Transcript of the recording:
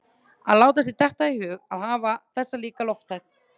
Að láta sér detta í hug að hafa þessa líka lofthæð